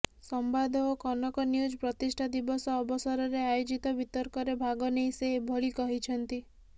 ସମ୍ବାଦ ଓ କନକ ନ୍ୟୁଜ୍ ପ୍ରତିଷ୍ଠା ଦିବସ ଅବସରରେ ଆୟୋଜିତ ବିତର୍କରେ ଭାଗନେଇ ସେ ଏଭଳି କହିଛନ୍ତି